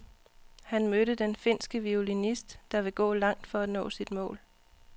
Han mødte den finske violinist, der vil gå langt for at nå sit mål.